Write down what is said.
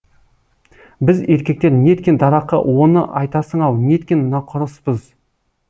біз еркектер неткен дарақы оны айтасың ау неткен нақұрыспыз